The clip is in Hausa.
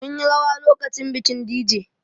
Mun yi rawa lokacin bikin Dije